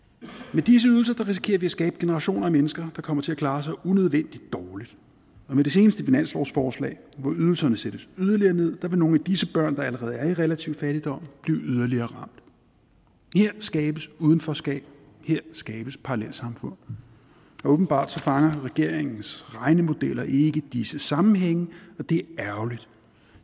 med disse ydelser risikerer vi at skabe generationer af mennesker der kommer til at klare sig unødvendig dårligt og med det seneste finanslovsforslag hvor ydelserne sættes yderligere ned vil nogle af disse børn der allerede er i relativ fattigdom blive yderligere ramt her skabes udenforskab her skabes parallelsamfund og åbenbart fanger regeringens regnemodeller ikke disse sammenhænge og det er ærgerligt